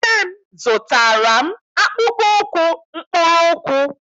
Nne m zụtaara m akpụkpọ ụkwụ mkpụrụụkwụ.